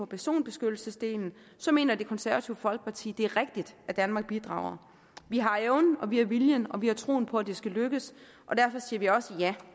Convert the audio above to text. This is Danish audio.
personbeskyttelsesdelen så mener det konservative folkeparti det er rigtigt at danmark bidrager vi har evnen og vi har viljen og vi har troen på at det skal lykkes og derfor siger vi også ja